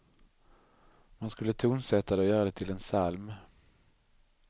Man skulle tonsätta det och göra det till en psalm.